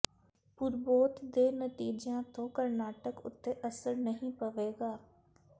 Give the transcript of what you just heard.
ਪੂਰਬੋਤ ਦੇ ਨਤੀਜਿਆਂ ਤੋਂ ਕਰਨਾਟਕ ਉੱਤੇ ਅਸਰ ਨਹੀਂ ਪਵੇਗਾ